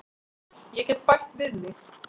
Ég get bætt við mig.